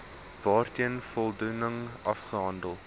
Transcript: waarteen voldoening afgehandel